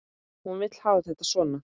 Hún vill hafa þetta svona.